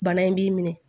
Bana in b'i minɛ